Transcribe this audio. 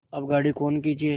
अब गाड़ी कौन खींचे